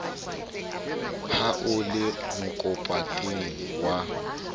ha o le mokapotene wa